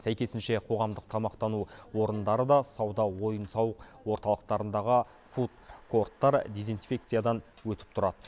сәйкесінше қоғамдық тамақтану орындары да сауда ойын сауық орталықтарындағы фуд корттар дезинфекциядан өтіп тұрады